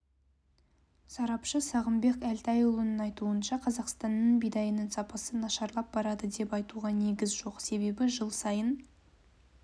сарапшы сағымбек әлтайұлының айтуынша қазақстанның бидайының сапасы нашарлап барады деп айтуға негіз жоқ себебі жыл сайын